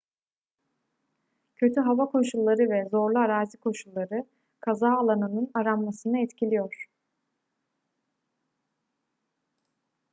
kötü hava koşulları ve zorlu arazi koşulları kaza alanının aranmasını etkiliyor